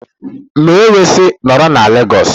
M wee sị, nọrọ na Lagos!